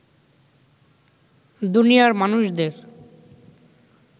দুনিয়ার মানুষদের